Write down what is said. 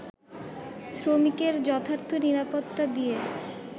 শ্রমিকের যথার্থ নিরাপত্তা দিয়ে